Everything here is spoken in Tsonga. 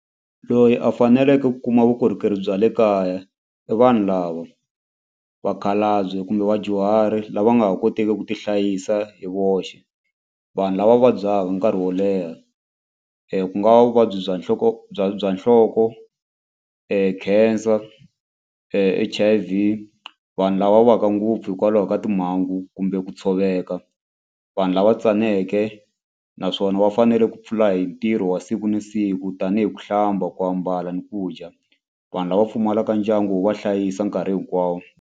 Loyi a faneleke ku kuma vukorhokeri bya le kaya i vanhu lava vakhalabye kumbe vadyuhari lava nga ha koteki ku tihlayisa hi voxe vanhu lava va vabyaka nkarhi wo leha ku nga va vuvabyi bya nhloko bya bya nhloko, cancer, H_I_V vanhu lava waka ngopfu hikwalaho ka timhangu kumbe ku tshoveka vanhu lava tsaneke naswona va fanele ku pfula hi ntirho wa siku na siku tanihi ku hlamba ku ambala ni ku dya vanhu lava pfumalaka ndyangu wo va hlayisa nkarhi hinkwawo.